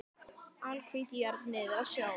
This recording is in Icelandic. Alhvít jörð niður að sjó.